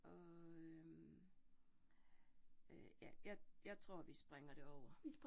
Og øh øh ja, ja, jeg tror vi springer det over